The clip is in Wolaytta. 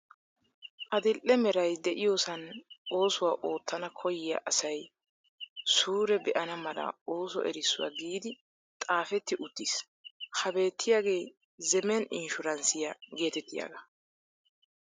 Adil'e Meray diyoosan oosuwaa oottana koyyiya asay suure be'ana mala ooso erissuwa giidi xaafetti uttis ha beettiyaagee zemen inshuransiya geetettiyaagaa.